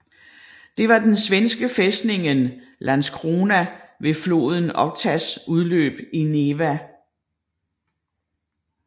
Det var den svenske fæstningen Landskrona ved floden Okhtas udløb i Neva